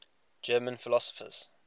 german philosophers